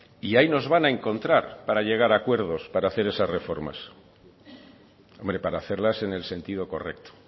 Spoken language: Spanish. y ahí nos van a encontrar para llegar a acuerdos para hacer esas reformas hombre para hacerlas en el sentido correcto